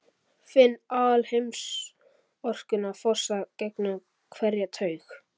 Finn alheimsorkuna fossa gegnum hverja taug.